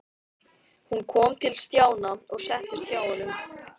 Hún kom til Stjána og settist hjá honum.